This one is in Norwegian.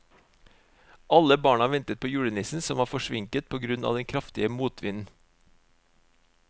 Alle barna ventet på julenissen, som var forsinket på grunn av den kraftige motvinden.